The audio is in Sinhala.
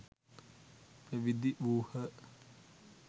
පැවිදි වූහ.